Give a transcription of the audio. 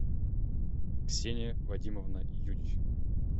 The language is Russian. ксения вадимовна юдичева